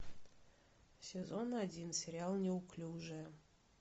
сезон один сериал неуклюжая